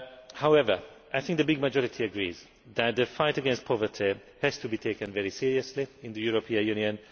However, I think the large majority agrees that the fight against poverty has to be taken very seriously in the European Union.